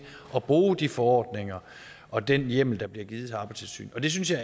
at bruge de forordninger og den hjemmel der bliver givet til arbejdstilsynet det synes jeg